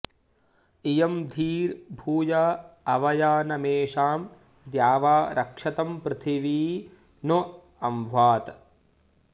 इ॒यं धीर्भू॑या अव॒यान॑मेषां॒ द्यावा॒ रक्ष॑तं पृथिवी नो॒ अभ्वा॑त्